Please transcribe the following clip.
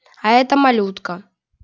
а это малютка